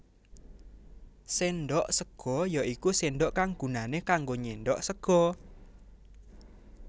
Séndhok sega ya iku sendok kang gunané kanggo nyendhok sega